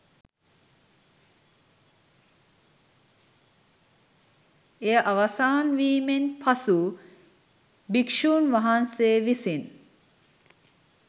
එය අවසන්වීමෙන් පසු භික්ෂූන් වහන්සේ විසින්